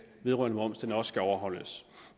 vedrørende moms også overholdes